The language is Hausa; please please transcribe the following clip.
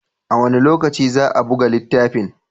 A wane lokaci za a buga littafin?